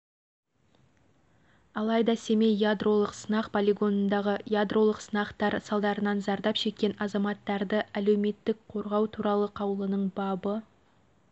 алайда семей ядролық сынақ полигонындағы ядролық сынақтар салдарынан зардап шеккен азаматтарды әлеуметтік қорғау туралы қаулының бабы